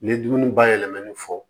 N ye dumuni bayɛlɛmani fɔ